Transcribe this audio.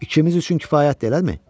İkimiz üçün kifayətdir eləmi?